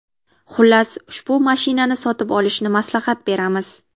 Xullas, ushbu mashinani sotib olishni maslahat beramiz.